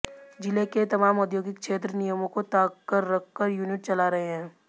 जिला के तमाम औद्योगिक क्षेत्र नियमों को ताक पर रखकर यूनिट चला रहे हैं